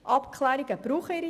Abklärungen brauchen Zeit.